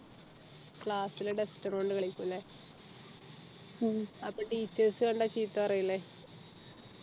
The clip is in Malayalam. class ലെ duster കൊണ്ട് കളിക്കും അല്ലെ അപ്പൊ teachers കണ്ടാ ചീത്ത പറയൂലെ